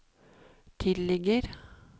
tilligger